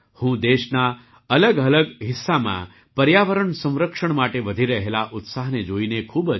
હું દેશના અલગઅલગ હિસ્સામાં પર્યાવરણ સંરક્ષણ માટે વધી રહેલા ઉત્સાહને જોઈને ખૂબ જ ખુશ છું